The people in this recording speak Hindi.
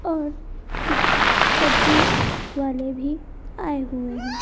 और कुछ सब्जी वाले भी आए हुए हैं।